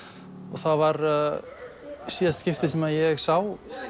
það var í síðasta skipti sem ég sá